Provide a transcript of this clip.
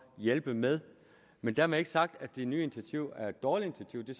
hjælpe med men dermed ikke være sagt at det nye initiativ er et dårligt initiativ det